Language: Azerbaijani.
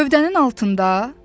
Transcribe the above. Gövdənin altında?